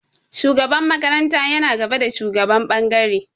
Shugaban makaranta yana gaba da shugaban ɓangare.